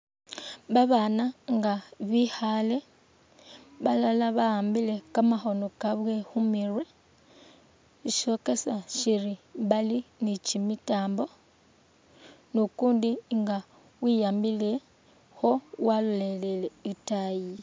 Ba bana nga bikhale balala ba'ambile kamakhono kabwe khu murwe ishokesa shiri bali ni kyimitambo ni ukundi nga wiyambilekho walolelele itaayi.